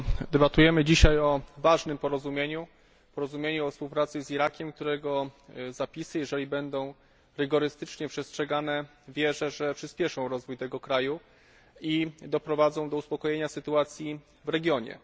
Debatujemy dzisiaj o ważnym porozumieniu, porozumieniu o współpracy z Irakiem, którego zapisy, jeżeli będą rygorystycznie przestrzegane, wierzę, że przyspieszą rozwój tego kraju i doprowadzą do uspokojenia sytuacji w regionie.